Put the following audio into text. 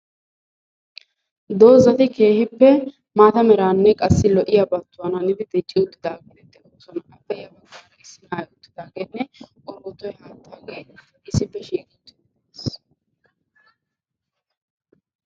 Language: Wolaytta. dozzati keehippe maata meraa naagidi dicci uttidaaga. issi bootta keettaynne issippe shiiqqi uttiis.